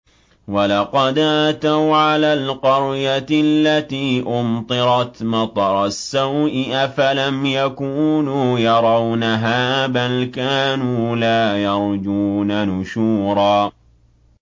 وَلَقَدْ أَتَوْا عَلَى الْقَرْيَةِ الَّتِي أُمْطِرَتْ مَطَرَ السَّوْءِ ۚ أَفَلَمْ يَكُونُوا يَرَوْنَهَا ۚ بَلْ كَانُوا لَا يَرْجُونَ نُشُورًا